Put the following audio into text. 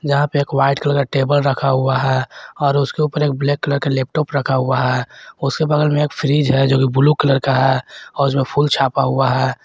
जहां पे एक वाइट कलर का टेबल रखा हुआ है और उसके ऊपर एक ब्लैक कलर का लैपटॉप रखा हुआ है उसके बगल में एक फ्रिज है जोकि ब्लू का है और जो फूल छापा हुआ है।